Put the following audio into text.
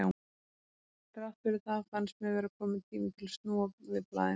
Þrátt fyrir það fannst mér vera kominn tími til að snúa við blaðinu.